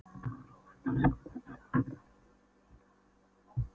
Hrólfdís, hvað er í dagatalinu mínu í dag?